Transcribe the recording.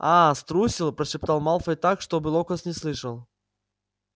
а-а струсил прошептал малфой так чтобы локонс не слышал